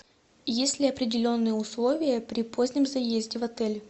есть ли определенные условия при позднем заезде в отель